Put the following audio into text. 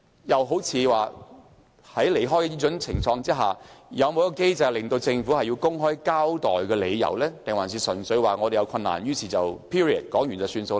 又好像在偏離時，有否一個機制規定政府須公開交代理由，還是只說有困難，便不用作解釋？